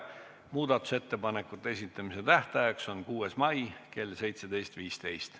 Muudatusettepanekute esitamise tähtaeg on 6. mai kell 17.15.